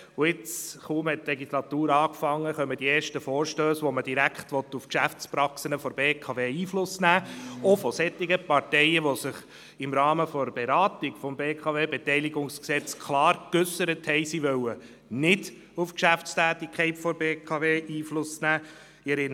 Kaum hat die Legislatur begonnen, kommen die ersten Vorstösse, mit denen man direkt auf die Geschäftspraxen der BKW Einfluss nehmen will, auch von solchen Parteien, die im Rahmen der Beratung des BKWG klar geäussert haben, dass sie auf die Geschäftstätigkeit der BKW nicht Einfluss nehmen wollen.